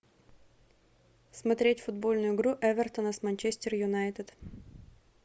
смотреть футбольную игру эвертона с манчестер юнайтед